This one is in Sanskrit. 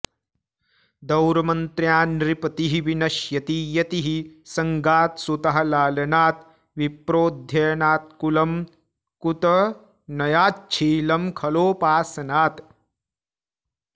दौर्मन्त्र्यान्नृपतिः विनश्यति यतिः संगात्सुतः लालनात् विप्रोऽनध्ययनात्कुलं कुतनयाच्छीलं खलोपासनात्